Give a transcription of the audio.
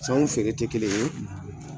San feere tɛ kelen ye.